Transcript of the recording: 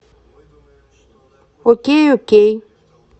окей окей